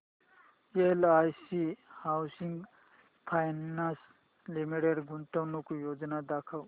LIC housing finance limited गुंतवणूक योजना दाखव